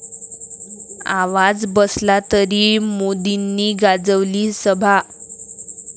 आवाज बसला तरी मोदींनी गाजवली सभा